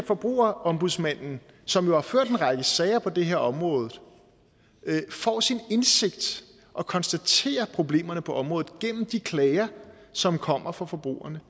forbrugerombudsmanden som jo har ført en række sager på det her område får sin indsigt og konstaterer problemerne på området gennem de klager som kommer fra forbrugerne